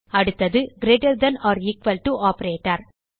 அடுத்தது greater than or equal to operator